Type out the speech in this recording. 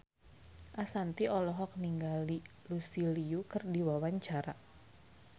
Ashanti olohok ningali Lucy Liu keur diwawancara